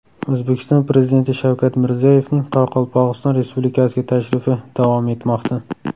O‘zbekiston Prezidenti Shavkat Mirziyoyevning Qoraqalpog‘iston Respublikasiga tashrifi davom etmoqda.